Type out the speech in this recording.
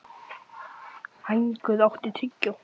Hængur, áttu tyggjó?